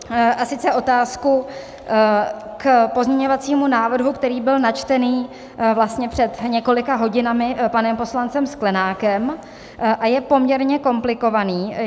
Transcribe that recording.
A sice otázku k pozměňovacímu návrhu, který byl načtený vlastně před několika hodinami panem poslancem Sklenákem a je poměrně komplikovaný.